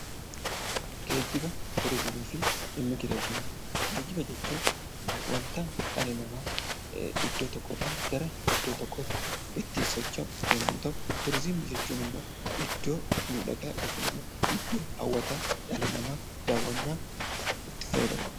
Geejjiba jechuun wanta dhalli namaa iddoo tokkorraa gara biraatti ittiin socho'u yommuu ta'u, turizimii jechuun immoo iddoo miidhagaa yookiin immoo iddoo hawwataa dhalli namaa daawwannaaf itti fayyadamudha .